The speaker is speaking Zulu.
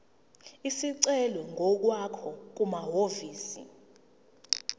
isicelo ngokwakho kumahhovisi